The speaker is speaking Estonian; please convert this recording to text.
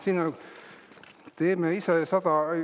Siin on, teeme ise sada …